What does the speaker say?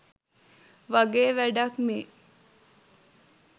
වගේ වැඩක් මේ